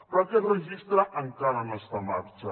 però aquest registre encara no està en marxa